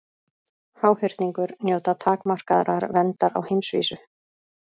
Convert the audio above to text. Háhyrningur njóta takmarkaðrar verndar á heimsvísu.